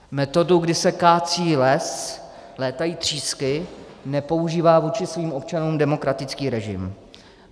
Metodu, když se kácí les, létají třísky, nepoužívá vůči svým občanům demokratický režim.